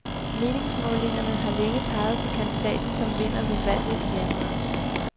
Meningsmålingerne har længe peget på kandidaten som vinder ved valget i januar.